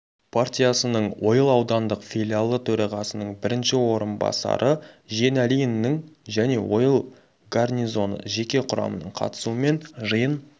партиясының ойыл аудандық филиалы төрағасының бірінші орынбасары жиеналиннің және ойыл гарнизоны жеке құрамының қатысуымен жиын